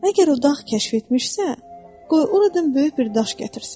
əgər o dağ kəşf etmişsə, qoy oradan böyük bir daş gətirsin.